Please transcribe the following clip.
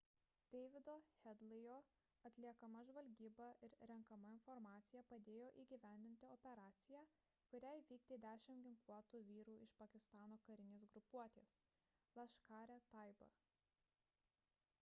davido headley'o atliekama žvalgyba ir renkama informacija padėjo įgyvendinti operaciją kurią įvykdė 10 ginkluotų vyrų iš pakistano karinės grupuotės laskhar-e-taiba